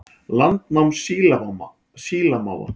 Landnám sílamáfa